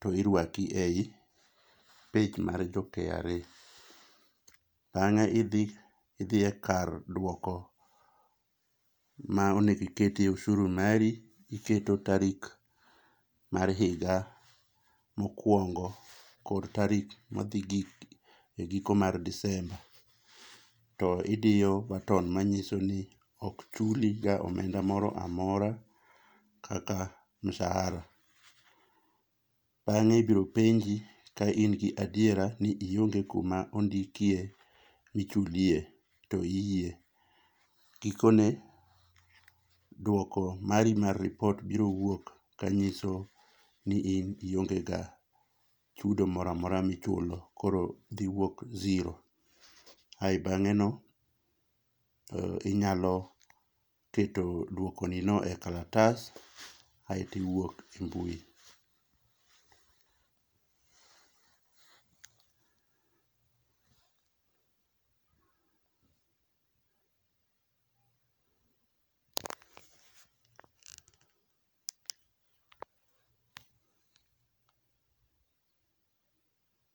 to irwaki ei page mar jo KRA. Bange idhi, idhi e kar duoko ma onego iketie oshuru mari ,iketo tarik mar higa mokuongo kod tarik madhi gi giko mar disemba to idiyo button manyiso ni ok chuliga omenda moro amora kata mshahara. Bange ibiro penji ka in gi adiera ni ionge kuma ondikie michulie to iyie, gikone duoko mari mar ripot biro wuok manyiso ni in ionge ga chudo moro amora michulo ,koro dhi wuok zero. Ae bange no, inyalo keto duoko ni no e kalatas aito iwuok e mbui.